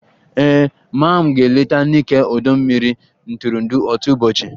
Ee, maa m ga-eleta Nike ọdọ mmiri ntụrụndụ otu ụbọchị